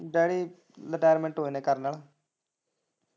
Daddy retirement ਹੋਏ ਨੇ colonel.